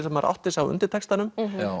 að maður átti sig á undirtextanum